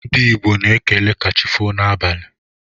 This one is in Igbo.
Ndi igbo na ekele kachifo na abali..